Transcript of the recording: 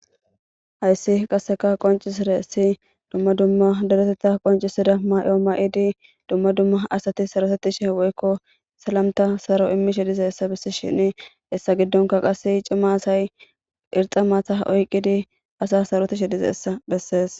hayssi qasseka qoncisire ssi dumma dumma daretetta qoncisida mayooma7idi dumma dumma asati sarosettishe woykko salamta saro immishe dize essa bissi shini hessa giddonka qasse cimma asay irxa maatha oyqqidi asa sarotishe dizeessa bessees